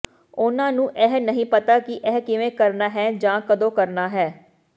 ਉਨ੍ਹਾਂ ਨੂੰ ਇਹ ਨਹੀਂ ਪਤਾ ਕਿ ਇਹ ਕਿਵੇਂ ਕਰਨਾ ਹੈ ਜਾਂ ਕਦੋਂ ਕਰਨਾ ਹੈ